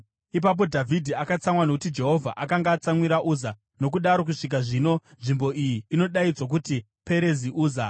Ipapo Dhavhidhi akatsamwa nokuti Jehovha akanga atsamwira Uza, nokudaro kusvika zvino nzvimbo iyi inodaidzwa kuti Perezi Uza.